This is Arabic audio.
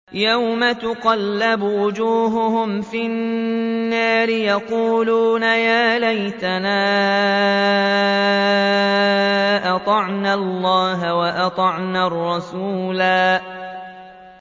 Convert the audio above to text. يَوْمَ تُقَلَّبُ وُجُوهُهُمْ فِي النَّارِ يَقُولُونَ يَا لَيْتَنَا أَطَعْنَا اللَّهَ وَأَطَعْنَا الرَّسُولَا